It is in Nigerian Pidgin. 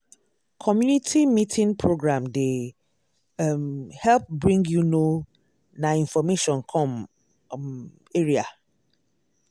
community meeting program dey um help bring you know na information come um area. um